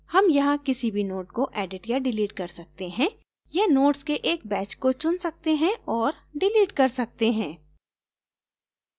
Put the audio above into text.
हम यहाँ किसी भी node को edit या delete कर सकते हैं या nodes के एक batch को चुन सकते हैं और डिलीट कर सकते हैं